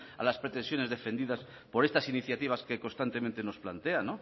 a las pretensiones defendidas por estas iniciativas que constantemente nos plantea